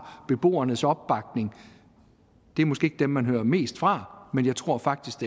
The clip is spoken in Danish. beboernes opbakning det er måske ikke dem man hører mest fra men jeg tror faktisk